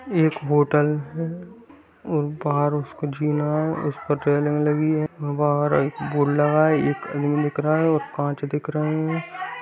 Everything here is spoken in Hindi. एक होटल है और बहार उसके उसपे रेलिंग लगी है बोर्ड लगा है एक रूम दिख रहा है और कांच दिख रहा है।